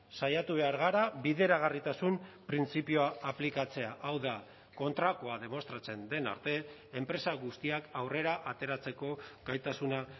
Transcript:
saiatu behar gara bideragarritasun printzipioa aplikatzea hau da kontrakoa demostratzen den arte enpresa guztiak aurrera ateratzeko gaitasuna